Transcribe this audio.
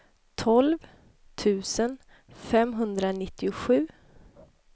tolv tusen femhundranittiosju